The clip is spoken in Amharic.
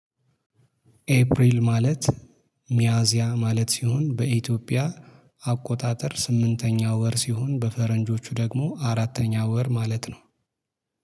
ኤፕሪል ማለት ሚያዚያ ማለት ሲሆን በኢትዮጵያ አቆጣጠር ስምንተኛው ወር ሲሆን በፈረንጆቹ ደግሞ አራተኛው ወር ማለት ነው